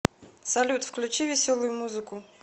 салют включи веселую музыку